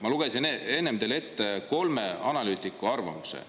Ma lugesin enne teile ette kolme analüütiku arvamused.